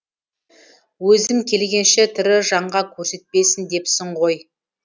өзім келгенше тірі жанға көрсетпесін депсің ғой